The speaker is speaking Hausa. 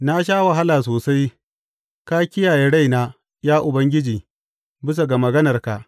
Na sha wahala sosai; ka kiyaye raina, ya Ubangiji, bisa ga maganarka.